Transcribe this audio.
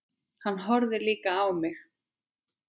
Hann horfði líka á mig.